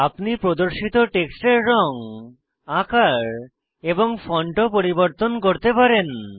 আপনি প্রদর্শিত টেক্সটের রঙ আকার এবং ফন্ট ও পরিবর্তন করতে পারেন